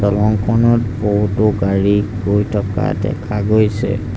দলংখনত বহুতো গাড়ী গৈ থকা দেখা গৈছে।